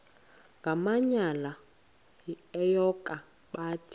ngamanyal enyoka bathi